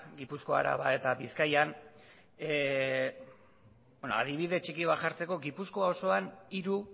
gipuzkoa araba eta bizkaian adibide txiki bat jartzeko gipuzkoa osoan hiru